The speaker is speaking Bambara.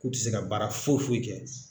K'u tɛ se ka baara foyi foyi kɛ.